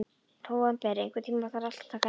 Nóvember, einhvern tímann þarf allt að taka enda.